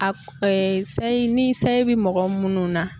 A sayi ni sayi bi mɔgɔ munnu na